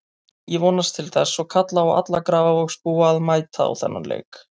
Ég vonast til þess og kalla á alla Grafarvogsbúa að mæta á þennan leik.